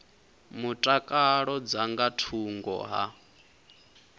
mutakalo dza nga thungo ha